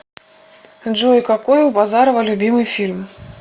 джой какой у базарова любимый фильм